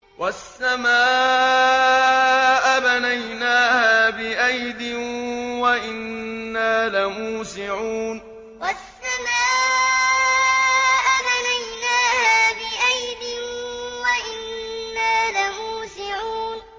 وَالسَّمَاءَ بَنَيْنَاهَا بِأَيْدٍ وَإِنَّا لَمُوسِعُونَ وَالسَّمَاءَ بَنَيْنَاهَا بِأَيْدٍ وَإِنَّا لَمُوسِعُونَ